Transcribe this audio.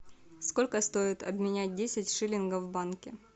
сколько стоит обменять десять шиллингов в банке